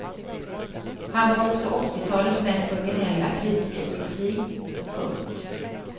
Han var också åttitalets mest originella kritikerprofil. punkt